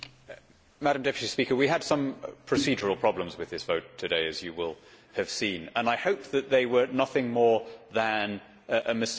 Madam President, we had some procedural problems with this vote today, as you will have seen, and I hope that they were nothing more than a mistake.